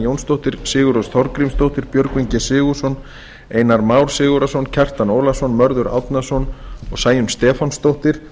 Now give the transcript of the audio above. jónsdóttir sigurrós þorgrímsdóttir björgvin g sigurðsson einar már sigurðarson kjartan ólafsson mörður árnason og sæunn stefánsdóttir